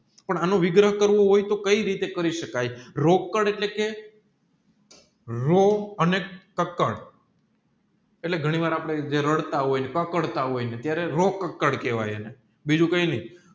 પણ આનું વિગ્રહ કરવું હોય તોહ કયી રીતે કાકી સકાય રોકડ એટલે કે રો અને કકડ ટેલિ ઘણી વાર આપણે રાડા હોય ને કકળતા હોય ત્યારે રોક્કળ કેહવાય બીજું કયી નહિ